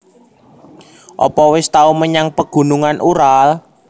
Opo wis tau menyang Pegunungan Ural